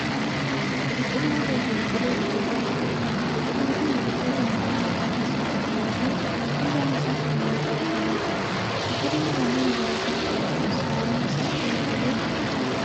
Biqilaa reefu biqilee guddataa jiruudha. Biqilaan kun biqiloota midhaan nyaataa keessaa tokko yoo ta'u killaan isaa sirnaan itti dhahamee jira. Biqilaan halluu magariisa qabu kun sanyiin isaa toora galee kan facaafameedha.